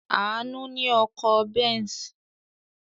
Àánú ní ọkọ̀ Benz.